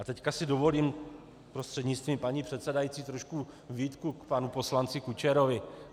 A teď si dovolím prostřednictvím paní předsedající trošku výtku k panu poslanci Kučerovi.